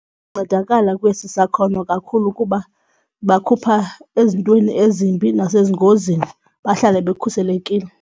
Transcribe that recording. Ncedakala kwesi sakhono kakhulu kuba bakhupha ezintweni ezimbi nasengozini bahlale bekhuselekile.